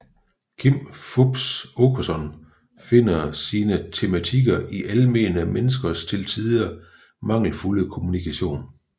Kim Fupz Aakeson finder sine tematikker i almene menneskers til tider mangelfulde kommunikation